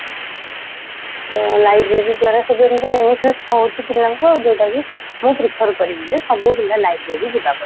ତ library ଦ୍ଵାରା ସବୁ ଏମିତି benefit ହଉଚି ପିଲାଙ୍କୁ ଆଉ ଯୋଉଟାକି ମୁଁ prefer କରିବିଜେ ସବୁପିଲା library ଯିବାକଥା